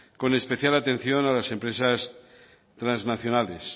con especial atención a las empresas transnacionales